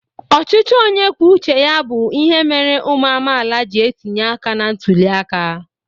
Ọchịchị onye kwuo uche ya bụ ihe mere ụmụ amaala ji etinye aka na ntuli aka.